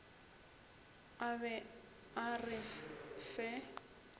a be a re fe